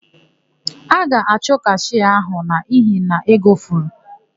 A ga-achụ kashịa áhụ̀ n'ihi na ego furu.